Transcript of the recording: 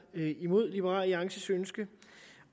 imod liberal alliances ønske